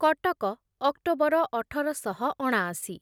Cuttack October ଅଠର ଶହ ଅଣାଅଶି